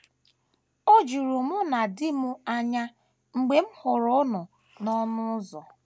O juru mụ na di m anya mgbe m hụrụ unu n’ọnụ ụzọ.